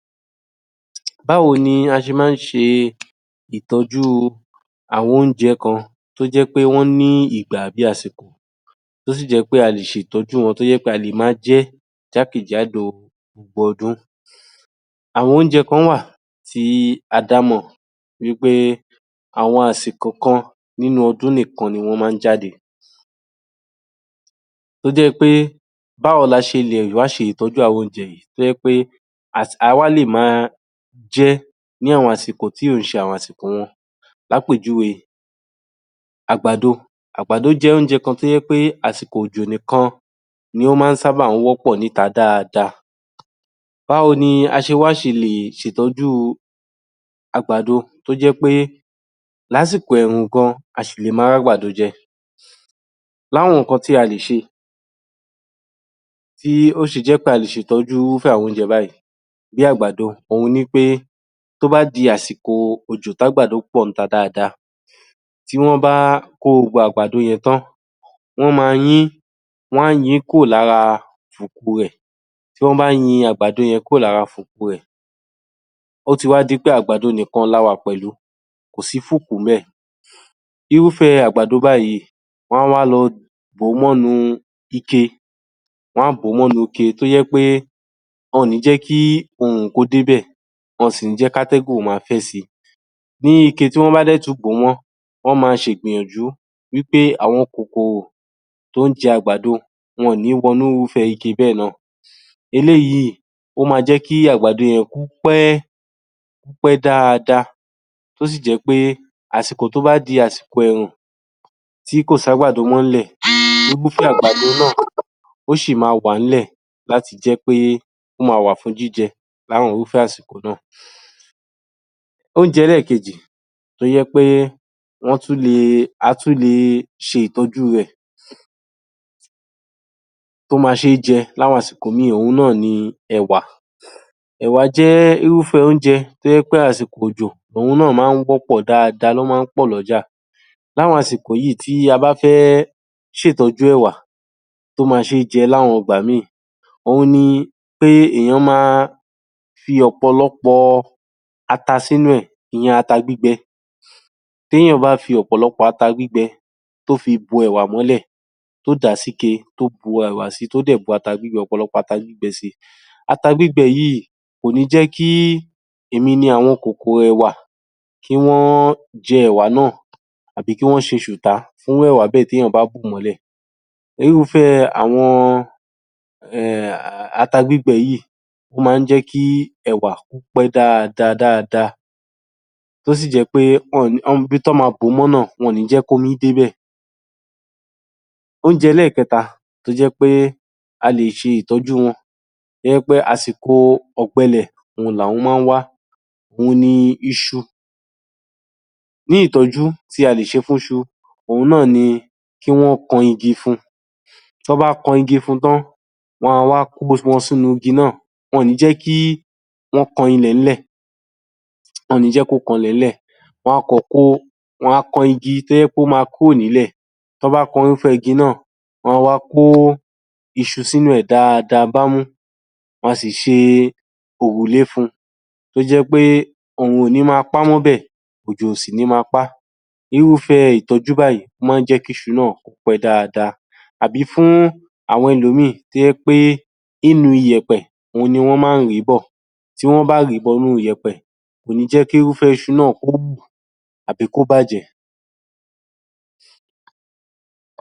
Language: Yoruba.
Báwo ni a ṣe má ń ṣe ìtọ́júu àwọn óúnjẹ kan tó jẹ́ pé wọ́n ní ìgbà àbí àsìkò tó sì jẹ́ pé a lè ṣètọ́jú wọn tó sì jẹ́ pé a lè máa jẹ́ jákè-jádò gbogbo ọdún. Àwọn óúnjẹ kán wà tí a dámọ̀, tó jẹ́ pé àwọn àsìkò kan nínú ọdún nìkan ni wọ́n má ń jáde tó jẹ́ pé báwo la ṣe lè wá ṣe ìtọ́jú àwọn óúnjẹ yìí tó jẹ́ pé a wá lè máa jẹ é ní àwọn àsìkò tí ò ń ṣe àsìkò wọn. L’ápèjúwe, àgbàdo, àgbàdo jẹ́ óúnjẹ kan tó jẹ́ pé àsìkò òjò nìkan ni ó má ń sábà wọ́pọ̀ níta dáadáa. Báwo ni a ṣe wá ṣe lè ṣètọ́jú àgbàdo tó jẹ́ pé lásìkò ẹ̀rùn gan-an, a sì lè máa r’ágbàdo jẹ, l’áwọn nǹkan tí a le ṣe tí ó ṣe jẹ́ pé a lè ṣètọ́jú irúfé àwọn óúnjẹ báyìí, bí àgbàdo òhun ni í pé tó bá di àsìkò òjò tí àgbàdo pọ̀ dáadáa, tí wọ́n bá kó gbogbo àgbàdo yẹn tán, wọ́n máa yín, wọ́n á yin n kúrò lára fùku rẹ̀. Tí wọ́n bá yin àgbàdo yẹn kúrò lára fùku rẹ̀, ó ti wá di pé àgbàdo nìkan la wà pẹ̀lú kò sí fùkù ńbẹ̀. Irúfẹ́ àgbàdo báyíì, wọ́n á wá lọ bò ó mọ́ inú ike, wọ́n á bò ó mọ inú ike tó jẹ́ pé wọn ò ní jẹ́ kí òòrùn kó débẹ̀ wọn ò sì ní jẹ́ kí atẹ́gùn ó máa fẹ́ si. Ní ike tí wọ́n bá dẹ̀ tún bò ó mọ́, wọ́n ma ṣe ìgbìyànjú pé àwọn kòkòrò tó ń jẹ àgbàdo wọn ò ní wọnú irúfẹ́ ike bẹ́ẹ̀ náà. Eléyìí ó máa jé kí àgbàdo yẹn kó pẹ́, kó pé dáadáa tó sì jẹ́ pé àsìkò tó bá di àsìkò ẹ̀rùn tí kò s’ágbàdo mọ́ nílẹ̀, gbogbo àgbàdo náà ó sì máa wà tó jẹ́ pé ó máa wà fún jíjẹ l’áwọn irúfẹ́ àsìkò náà. Óúnjẹ ẹlẹ́ẹ̀kejì tó jẹ́ pé wọ́n tún le, a tún le ṣe ìtọ́jú rẹ̀ tó jẹ́ pé ó máa ṣé jẹ l’áwọn àsìkò míì, òhun náà ni ẹ̀wà. Ẹ̀wà jẹ́ irúfẹ́ óúnjẹ tó jẹ́ pé àsìkò òjò òhun náà má ń wọ́pọ̀, ó má ń pọ̀ l’ọ́jà l’áwọn àsìkò yíì tó jẹ́ pé tí a bá fẹ ́ṣètọ́jú ẹ̀wà tó máa ṣé jẹ l’áwọn ìgbà míì, òhun ni pé èèyan máa fi ọ̀pọ̀lọpọ̀ ata sínú ẹ̀, ìyẹn ata gbígbẹ. T’éyàn bá fi ọ̀pọ̀lọpọ̀ ata gbígbẹ tó fi bo ẹ̀wà mọ́lẹ̀, tó dà á síke, tó bu ẹ̀wà sí i, tó dẹ̀ bu ata gbígbẹ ọ̀pọ̀lọpọ̀ ata, ata gbígbẹ sí i, ata gbígbẹ yíì kò ní jẹ́ kí èmi ni àwọn kòkòrò ẹ̀wà kí wọ́n jẹ́ ẹ̀wà náà àbí kí wọ́n ṣe ṣùtá fún ẹ̀wà bẹ́ẹ̀ tí èyàn bá bò ó mọ́lẹ̀. Irúfẹ́ um ata gbígbẹ yíì, ó má ń jẹ́ kí ẹ̀wà kó pẹ́ dáadáa dáadáa tó sì jẹ́ pé ibi tán máa bò ó mọ́ náà, wọn ò ní jẹ́ k’ómi débẹ̀. Óúnjẹ ẹlẹ́ẹ̀kẹta tó jẹ́ pé a lè ṣe ìtọ́jú wọn tó jẹ́ pé àsìkò ọ̀gbẹlẹ̀ òhun ni àwọn má ń wá, òhun ni iṣu, ní ìtọ́jú tí a lè ṣe fúnṣu òhun náà ni kí wọ́n kan igi fún n, tí wọ́n bá ti kan igi fún n tán, wọn a wá kó wọn sínú igi náà, wọn òn ní jẹ́ kí wọ́n kan ilẹ̀ẹ́lẹ̀, wọn òn ní jẹ́ kó kan ilẹ̀ẹ́lẹ̀, wọn a kàn kó o, wọn a kan igi tó jẹ́ pé ó máa kúò nílẹ̀. Tán bá kan irúfẹ́ igi náà, wọ́n á wá kó iṣu sínú ẹ̀ dáadáa bámú, wọn a sì ṣe òrùlé fun tó jẹ́ pé òòruǹ ò ní máa pá mọ́bẹ̀, òjò ò sì ní máa pá. Irúfẹ́ ìtọ́jú báyìí má ń jẹ́ kí iṣu náà kó pẹ́ dáadáa, àbí fún àwọn ẹlòmíì tó jẹ́ pé ní inú iyẹ̀pẹ̀ òhun ni wọ́n má ń rì í bọ̀. Tí wọ́n bá rì í bo inú yẹ̀pẹ̀ kò ní jẹ́ kí irúfẹ́ iṣu náà kó wù àbí kó bàjẹ́.